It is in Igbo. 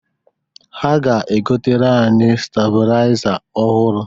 Ha ga-egotere anyị stabụlaịza ọhụrụ.